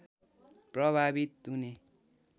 प्रभावित हुने